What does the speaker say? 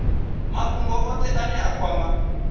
mafhungo othe ane a kwama